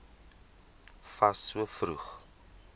fas so vroeg